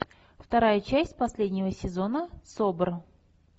вторая часть последнего сезона собр